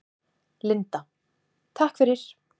Linda: Takk fyrir.